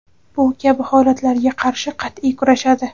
bu kabi holatlarga qarshi qatʼiy kurashadi.